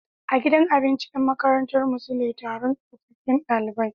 A gidan abinci Yan makarantar mu sule Taron tsofaffun ɗalibai